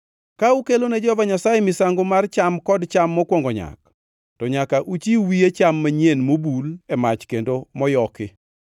Ka ukelone Jehova Nyasaye misango mar cham kod cham mokwongo nyak, to nyaka uchiw wiye cham manyien mobul e mach kendo moyoki.